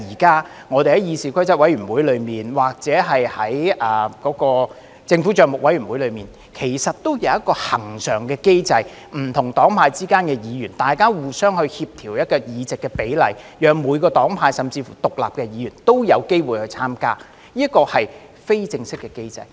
代理主席，議事規則委員會及政府帳目委員會現時均設有一個恆常機制，不同黨派的議員會互相協調委員的比例，讓每個黨派甚至乎獨立的議員也有機會參加，這是非正式的機制。